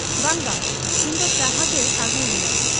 ᱼᱼᱼᱵᱟᱝ ᱵᱟᱝ ᱾ ᱤᱧᱫᱚ ᱪᱟᱦᱟᱜᱮ ᱟᱹᱜᱩᱣᱟᱹᱧ ᱢᱮ ᱾